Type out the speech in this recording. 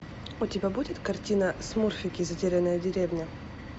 у тебя будет картина смурфики затерянная деревня